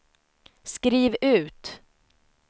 skriv ut